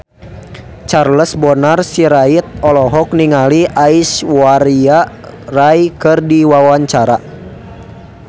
Charles Bonar Sirait olohok ningali Aishwarya Rai keur diwawancara